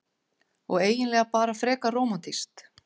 Og eiginlega bara frekar rómantískt.